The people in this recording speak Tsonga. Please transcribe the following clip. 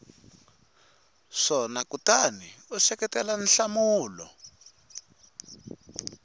swona kutani u seketela nhlamulo